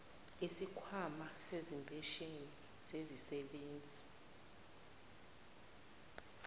wesikhwama sezimpesheni zezisebenzi